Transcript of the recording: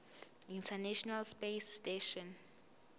international space station